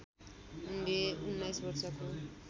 उनले १९ वर्षको